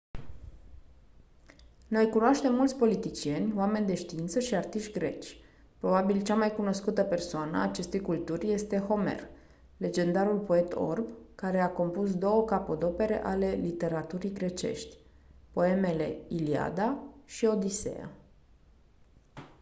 noi cunoaștem mulți politicieni oameni de știință și artiști greci probabil cea mai cunoscută persoană a acestei culturi este homer legendarul poet orb care a compus 2 capodopere ale literaturii grecești poemele iliada și odiseea